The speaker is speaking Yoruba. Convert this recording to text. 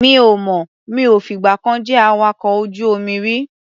Mi ò mọ̀. Mi ò fìgbà kan jẹ́ awakọ̀ ojú-omi rí.